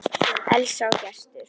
Elsa og Gestur.